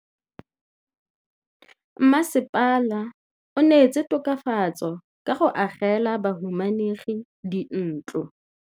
Mmasepala o neetse tokafatsô ka go agela bahumanegi dintlo.